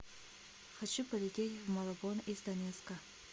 хочу полететь в малабон из донецка